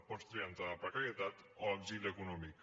pots triar entre la precarietat o l’exili econòmic